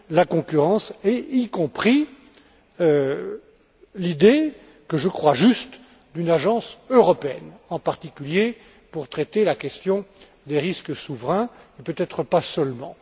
la concurrence, y compris l'idée que je crois juste d'une agence européenne, en particulier pour traiter la question des risques souverains, et peut être pas seulement.